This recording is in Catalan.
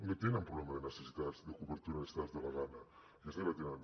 no tenen problema de necessitats de cobertura de necessitats de la gana aquesta ja la tenen